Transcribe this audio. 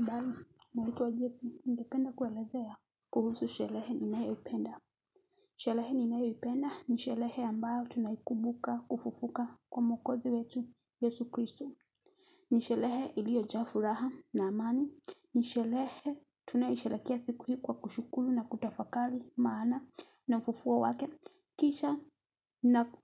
Habari, ninaitwa Jesi, ningependa kuelezea kuhusu sherehe ninayoipenda. Sherehe ninayoipenda ni sherehe ambayo tunayokumbuka kufufuka kwa mwokozi wetu Yesu Kristo. Nisherehe iliyojaa furaha na amani. Nisherehe tunayishereakea siku hii kwa kushukuru na kutafakari maana ya ufufuo wake. Kisha